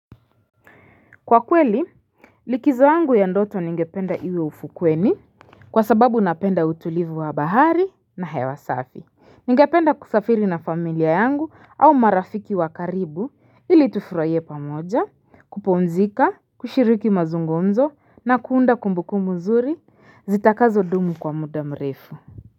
Kwa kweli, likizo yangu ya ndoto ningependa iwe ufukweni kwa sababu napenda utulivu wa bahari na hewa safi. Ningependa kusafiri na familia yangu au marafiki wa karibu ili tufuraie pamoja, kupumzika, kushiriki mazungumzo na kuunda kumbuku nzuri, zitakazo dumu kwa muda mrefu.